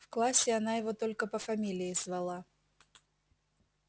в классе она его только по фамилии звала